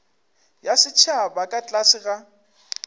ya setšhaba ka tlase ga